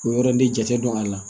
O yɔrɔ de jate don a la